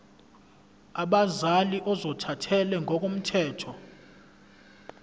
abazali ozothathele ngokomthetho